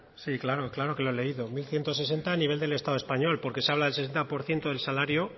sí claro claro que lo he leído mil ciento sesenta a nivel del estado español porque se habla del sesenta por ciento del salario